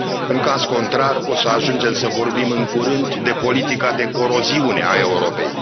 În caz contrar, o să ajungem să vorbim în curând de politica de coroziune a Europei.